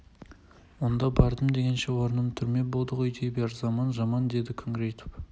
онда бардым дегенше орным түрме болды дей бер заман жаман деді күңіреніп